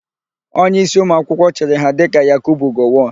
Onyeísí ụmụakwụkwọ chịrị ha dịka Yakubu Gowọn.